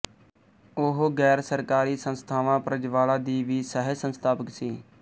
ਉਹ ਗ਼ੈਰਸਰਕਾਰੀ ਸੰਸਥਾ ਪ੍ਰਜਵਾਲਾ ਦੀ ਵੀ ਸਹਿਸੰਸਥਾਪਕ ਸੀ